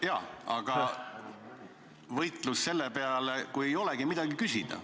Jaa, aga võitlus selle peale, kui ei olegi midagi küsida.